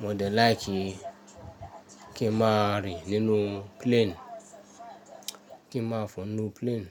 Mo de láìkí kí n máa rìn nínú plane, kí n máa fọ nu plane.